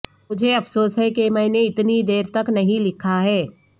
مجھے افسوس ہے کہ میں نے اتنی دیر تک نہیں لکھا ہے